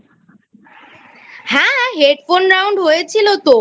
হ্যাঁ Headphone Round হয়েছিল তো।